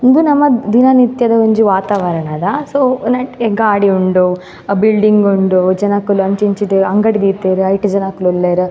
ಉಂದು ನಮ ದಿನ ನಿತ್ಯದ ಒಂಜಿ ವಾತಾವರಣದ ಸೊ ನೆಟ್ಟ್ ಗಾಡಿ ಉಂಡು ಅಹ್ ಬಿಲ್ಡಿಂಗ್ ಉಂಡು ಜನಕುಲು ಅಂಚಿ ಇಂಚಿ ಡ್ ಅಂಗಡಿ ದೀತೆರ್ ಐಟ್ ಜನಕುಲುಲ್ಲೆರ್.